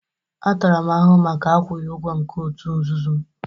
A tara m ahụhụ maka akwụghị ụgwọ nke òtù nzuzu m